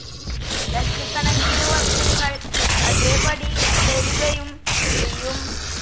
ലക്ഷക്കണക്കിനു വർഷങ്ങൾ അതേപടി തുടരുകയും ചെയ്യും.